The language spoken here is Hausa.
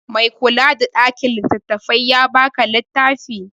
Mai kula da ɗakin littattafai ya ba ka littafin?